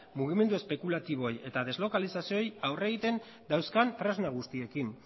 mugimendu espekulatiboei eta deslokalizazioei aurre egiten dauzkan tresna guztiekin